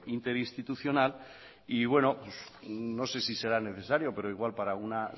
interinstitucional y bueno no sé si será necesario pero igual para una